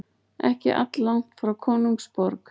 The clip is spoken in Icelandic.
Ekki alllangt frá konungsborg.